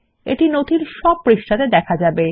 এটি নথির সব পৃষ্ঠাতে দেখা যাবে